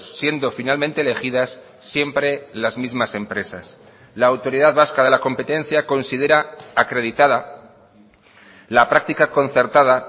siendo finalmente elegidas siempre las mismas empresas la autoridad vasca de la competencia considera acreditada la práctica concertada